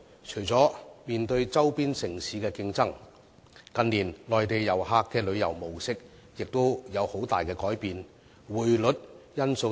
除了面對周邊城市的競爭外，近年內地旅客的旅遊模式亦出現了很大的改變，還有匯率因素等。